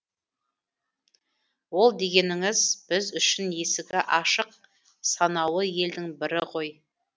ол дегеніңіз біз үшін есігі ашық санаулы елдің бірі ғой